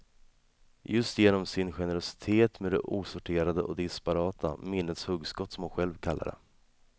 Just genom sin generositet med det osorterade och disparata, minnets hugskott som hon själv kallar det.